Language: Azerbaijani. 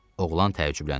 Oğlan təəccübləndi.